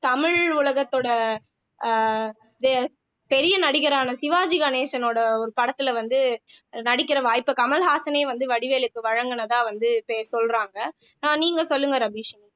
தமிழ் உலகத்தோட அஹ் பெரிய நடிகரான சிவாஜி கணேசனோட ஒரு படத்திலே வந்து நடிக்கிற வாய்ப்பை கமலஹாசனே வந்து வடிவேலுக்கு வழங்கினதா வந்து பே சொல்றாங்க அஹ் நீங்க சொல்லுங்க ரபீஷினி